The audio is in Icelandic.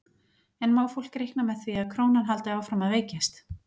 En má fólk reikna með því að krónan haldi áfram að veikjast?